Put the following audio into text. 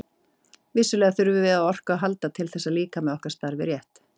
Vissulega þurfum við á orku að halda til þess að líkami okkar starfi rétt.